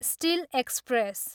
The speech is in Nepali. still express